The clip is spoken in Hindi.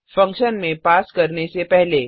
फंक्शन में पास करने से पहले